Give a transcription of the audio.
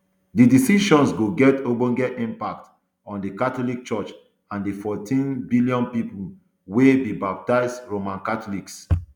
di decision go get ogbonge impact on di catholic church and di fourteen um billion pipo um wey be baptised roman catholics